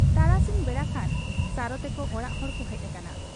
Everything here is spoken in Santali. ᱛᱟᱨᱟᱥᱤᱧ ᱵᱮᱲᱟᱠᱷᱟᱱ ᱥᱟᱨᱚ ᱛᱮᱠᱚ ᱚᱲᱟᱜ ᱦᱚᱲᱠᱚ ᱦᱮᱡ ᱟᱠᱟᱱᱟ ᱾